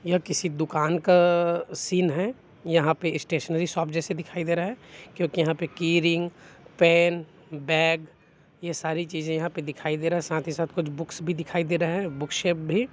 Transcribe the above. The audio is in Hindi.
यह किसी दुकान का सीन है यहां पे स्टेशनरी शॉप जैसा दिखाई दे रहा है क्योंकि यहां पर की रिंग पेन बैग यह सारी चीज यहां पर दिखाई दे रहा है साथ ही साथ कुछ बुक्स भी दिखाई दे रहा है बुक से भी--